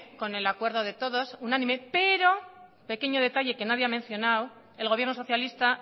con el acuerdo de todos unánime pero pequeño detalle que nadie ha mencionado el gobierno socialista